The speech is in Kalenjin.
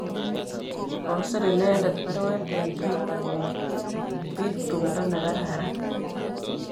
Kosir inendet baruet eng Twitter komakchin pik tumdo nekararan.